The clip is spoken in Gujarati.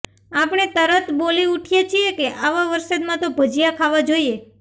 આપણે તરત બોલી ઊઠીએ છીએ કે આવા વરસાદમાં તો ભજીયાં ખાવા જોઈએ